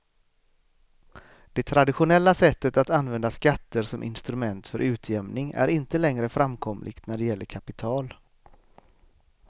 Det traditionella sättet att använda skatter som instrument för utjämning är inte längre framkomligt när det gäller kapital.